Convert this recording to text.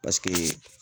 Paseke